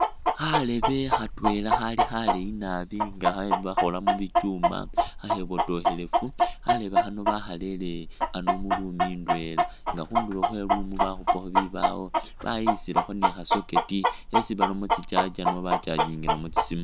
Kharebe khatwela khali khaleeyi nabi nga bakhakhola mu bichuuma khakhebotokhelefu. Kharebe khano bakharere ano mu room ndwela nga khundulo khwe i'room bakhupakho bibaawo bayikhisilakho ni kha socket khesi baramo tsi charger no bachagingilamu tsi siimu.